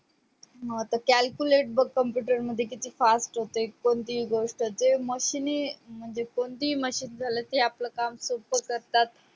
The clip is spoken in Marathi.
म आता Calculate बग computer मध्ये किती fast होतेय कोणतीही गोष्ट जे machine म्हणजे कोणतीही machin झालं कि आपले काम सोपं करतात